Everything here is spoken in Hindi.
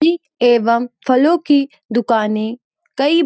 एवं फलों की दुकानें कई --